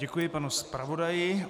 Děkuji panu zpravodaji.